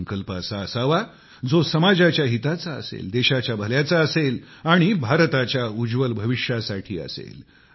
संकल्प असा असावा जो समाजाच्या हिताचा असेल देशाच्या भल्याचा असेल आणि भारताच्या उज्वल भविष्यासाठी असेल